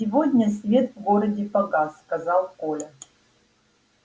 сегодня свет в городе погас сказал коля